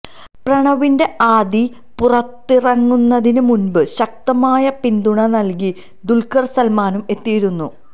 പ്രണവിന്റെ ആദി പുറത്തിറങ്ങുന്നതിന് മുന്പ് ശക്തമായ പിന്തുണ നല്കി ദുല്ഖര് സല്മാനും എത്തിയിരുന്നു